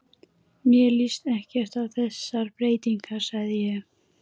Mér líst ekkert á þessar breytingar sagði ég.